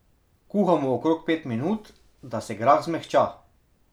Kuhamo okrog pet minut, da se grah zmehča.